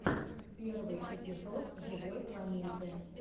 первый эпизод живой планеты